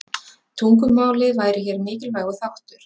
Tungumálið væri hér mikilvægur þáttur.